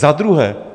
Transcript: Za druhé.